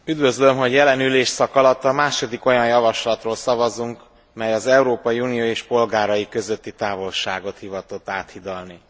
Üdvözlöm, hogy jelen ülésszak alatt a második olyan javaslatról szavazunk, mely az Európai Unió és polgárai közötti távolságot hivatott áthidalni.